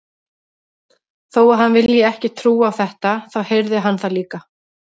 Þó að hann vilji ekki trúa á þetta, þá heyrði hann það líka.